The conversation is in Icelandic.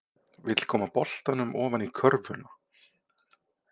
Vill koma boltanum ofan í körfuna.